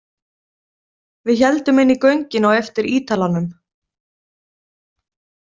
Við héldum inn í göngin á eftir Ítalanum.